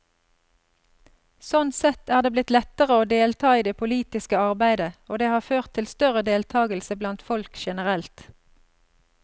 Sånn sett er det blitt lettere å delta i det politiske arbeidet, og det har ført til større deltagelse blant folk generelt.